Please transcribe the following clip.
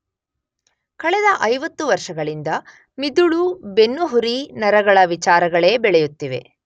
ಕಳೆದ 50 ವರ್ಷಗಳಿಂದ ಮಿದುಳು ಬೆನ್ನುಹುರಿ ನರಗಳ ವಿಚಾರಗಳೇ ಬೆಳೆಯುತ್ತಿದೆ.